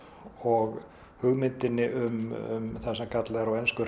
og hugmyndinni um það sem kallað er á ensku